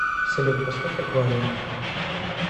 салют поставь аквариум